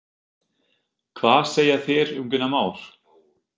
Hvað segja þeir um Gunnar Már?